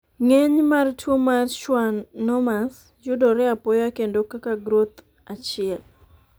ng'eny mar tuo mar schwannomas yudore apoya kendo kaka groth achiel